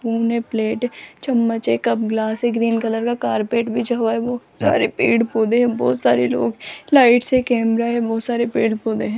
दोने प्लेट है चम्मच है कप ग्लास है ग्रीन कलर का कारपेट बिछा हुआ है बहुत सारे पेड़ पौधे हैं बहुत सारे लोग लाइट्स हैं कैमरा है बहुत सारे पेड़ पौधे हैं।